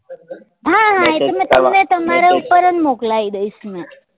હા હા એ તો મેં તમને તમારા ઉપર જ મોકલાઈ દઈસ ને